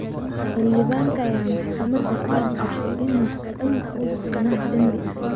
Xildhibaanka ayaa maxkamadda ka hor qirtay in uusan wax dambi ah gelin.